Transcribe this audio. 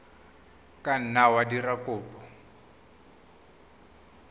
ka nna wa dira kopo